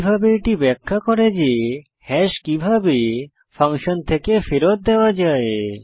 একইভাবে এটি ব্যাখ্যা করে যে হ্যাশ কিভাবে ফাংশন থেকে ফেরত দেওয়া যায়